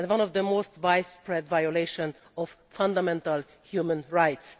It is one of the most widespread violations of fundamental human rights.